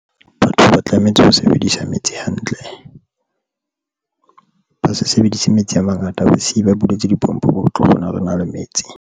Batho ba tlametse ho sebedisa metsi hantle, ba se sebedise metsi a mangata, basiye ba buletse, dipompo ba tlo kgona re na le metsi.